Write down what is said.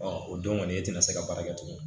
o don kɔni e tɛna se ka baara kɛ tugun